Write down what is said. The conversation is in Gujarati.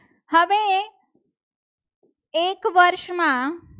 એક વર્ષમાં